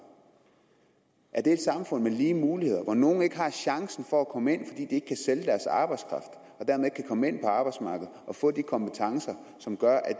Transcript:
er det et samfund med lige muligheder hvor nogle ikke har chancen for at komme ind fordi de ikke kan sælge deres arbejdskraft og dermed komme ind på arbejdsmarkedet og få de kompetencer som gør at